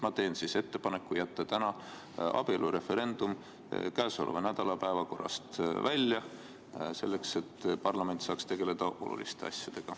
Ma teen siis ettepaneku jätta abielureferendum käesoleva nädala päevakorrast välja, selleks et parlament saaks tegeleda oluliste asjadega.